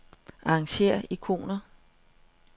Arrangér ikoner.